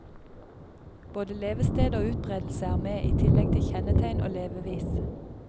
Både levested og utbredelse er med i tillegg til kjennetegn og levevis.